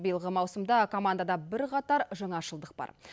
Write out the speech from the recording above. биылғы маусымда командада бірқатар жаңашылдық бар